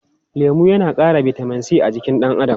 Lemu yana ƙara bitamin c a jikin ɗan adam.